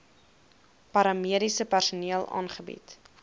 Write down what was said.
paramediese personeel aangebied